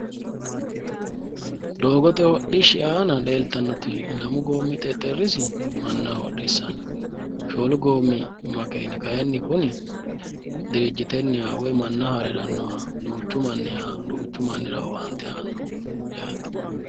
doogote hodhishshi aana leeltannoti lamu goommi xexerrisi manna hodhissanno , shoolu goommi makeeni kayiinni kuni dirijjitenniha woyi manna haare harannoho duuchu mannira owaante aannoho yaate'